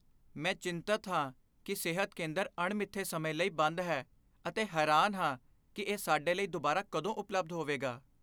ਮੈਂ ਚਿੰਤਤ ਹਾਂ ਕਿ ਸਿਹਤ ਕੇਂਦਰ ਅਣਮਿੱਥੇ ਸਮੇਂ ਲਈ ਬੰਦ ਹੈ ਅਤੇ ਹੈਰਾਨ ਹਾਂ ਕਿ ਇਹ ਸਾਡੇ ਲਈ ਦੁਬਾਰਾ ਕਦੋਂ ਉਪਲਬਧ ਹੋਵੇਗਾ।